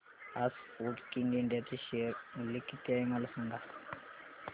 आज Sportking India चे share मूल्य किती आहे मला सांगा